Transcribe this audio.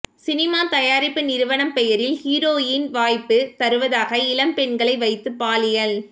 cinema தயாரிப்பு நிறுவனம் பெயரில் ஹீரோயின் வாய்ப்பு தருவதாக இளம்பெண்களை வைத்து பாலியல்